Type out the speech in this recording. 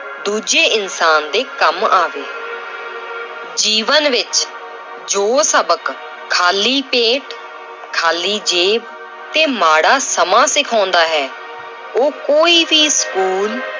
ਦੂਜੇ ਇਨਸਾਨ ਦੇ ਕੰਮ ਆਵੇ ਜੀਵਨ ਵਿੱਚ ਜੋ ਸਬਕ ਖਾਲੀ ਪੇਟ, ਖਾਲੀ ਜੇਬ ਤੇ ਮਾੜਾ ਸਮਾਂ ਸਿਖਾਉਂਦਾ ਹੈ ਉਹ ਕੋਈ ਵੀ ਸਕੂਲ